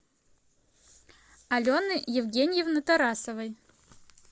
алены евгеньевны тарасовой